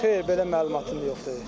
Xeyr, belə məlumatım yoxdur.